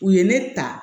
U ye ne ta